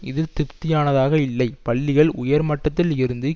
இது திருப்தியானதாக இல்லை பள்ளிகள் உயர்மட்டத்தில் இருந்து